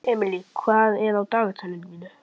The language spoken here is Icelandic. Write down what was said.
Emely, hvað er á dagatalinu í dag?